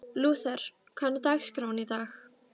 Lúther, hvernig er dagskráin í dag?